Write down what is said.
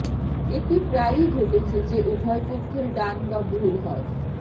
এটি প্রায়ই ঘটেছে যে উভয় পক্ষের ডান বা ভুল হয়